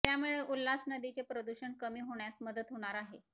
त्यामुळे उल्हास नदीचे प्रदूषण कमी होण्यास मदत होणार आहे